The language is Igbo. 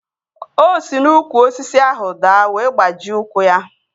O si n'úkwù osisi ahụ daa wee gbajie ụkwụ ya